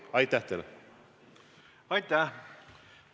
Aitäh!